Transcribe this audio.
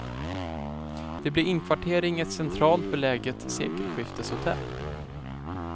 Det blir inkvartering i ett centralt beläget sekelskifteshotell.